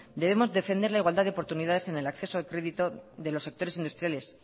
debemos defender la igualdad de oportunidades en el acceso de crédito de los sectores industriales